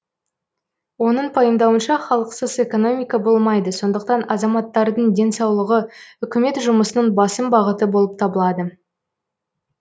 оның пайымдауынша халықсыз экономика болмайды сондықтан азаматтардың денсаулығы үкімет жұмысының басым бағыты болып табылады